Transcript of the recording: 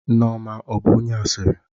Nneoma ọ bụ onye asịrị?